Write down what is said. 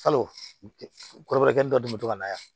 Kalo kɔrɔkɛ dɔ tun bɛ to ka na yan